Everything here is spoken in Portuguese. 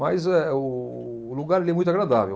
Mas eh, o lugar ele é muito agradável.